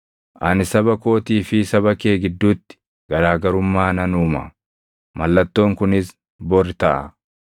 Ani saba kootii fi saba kee gidduutti garaa garummaa nan uuma. Mallattoon kunis bori taʼa.’ ”